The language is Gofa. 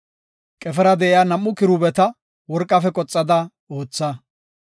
Qefera de7iya nam7u kiruubeta worqafe qoxada ootha.